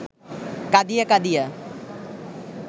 কাঁদিয়া কাঁদিয়া